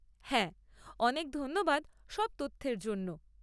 হ্যাঁ, অনেক ধন্যবাদ সব তথ্যের জন্য।